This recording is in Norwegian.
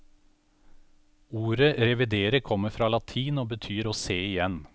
Ordet revidere kommer fra latin og betyr å se igjen.